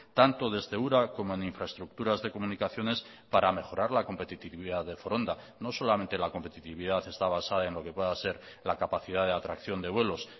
tanto desde ura como en infraestructuras de comunicaciones para mejorar la competitividad de foronda no solamente la competitividad está basada en lo que pueda ser la capacidad de atracción de vuelos